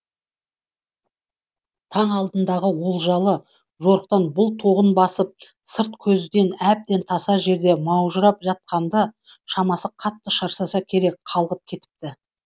таң алдындағы олжалы жорықтан бұл тоғын басып сырт көзден әбден таса жерде маужырап жатқанды шамасы қатты шаршаса керек қалғып кетіпті